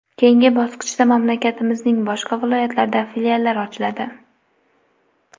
Keyingi bosqichda mamlakatimizning boshqa viloyatlarida filiallar ochiladi.